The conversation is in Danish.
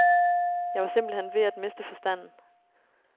Jeg var simpelt hen ved at miste forstanden.